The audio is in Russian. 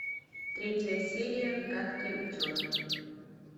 третья серия гадкий утенок